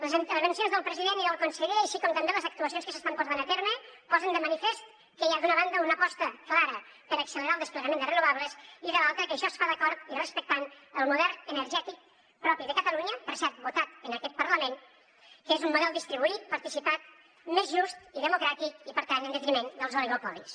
les intervencions del president i del conseller així com també les actuacions que s’estan portant a terme posen de manifest que hi ha d’una banda una aposta clara per accelerar el desplegament de renovables i de l’altra que això es fa d’acord i respectant el model energètic propi de catalunya per cert votat en aquest parlament que és un model distribuït participat més just i democràtic i per tant en detriment dels oligopolis